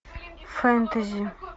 фэнтези